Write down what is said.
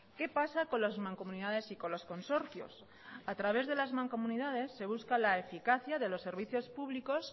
qué pasa con las mancomunidades y con los consorcios a través de las mancomunidades se busca la eficacia de los servicios públicos